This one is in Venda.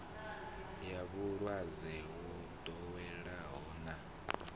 ya vhulwadze yo ḓoweleaho na